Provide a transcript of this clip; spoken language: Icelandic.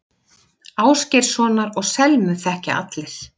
Ásgeirssonar og Selmu þekkja allir.